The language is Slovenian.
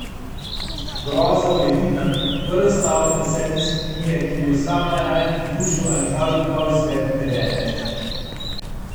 Groza v edinem, prvem stavku Desete simfonije, ki bi jo sam najraje pridružil ali kar dodal izvedbi Devete.